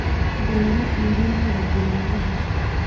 Hadda lama iibinkaro digaaggaha